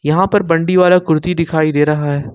यहां पर बंडी और एक कुर्ती दिखाई दे रहा है।